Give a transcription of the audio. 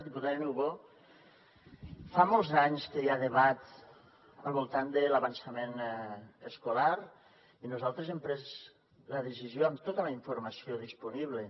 diputada niubó fa molts anys que hi ha debat al voltant de l’avançament escolar i nosaltres hem pres la decisió amb tota la informació disponible